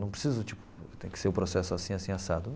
Não preciso, tipo, tem que ser o processo assim, assim, assado.